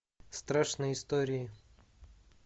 страшные истории